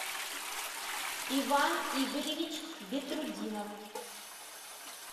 иван игоревич бетрутдинов